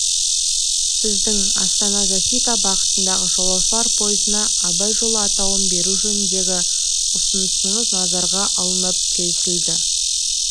сіздің астана защита бағытындағы жолаушылар пойызына абай жолы атауын беру жөніндегі ұсынысыңыз назарға алынып келісілді